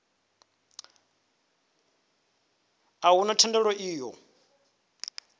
a huna thendelo i ṱo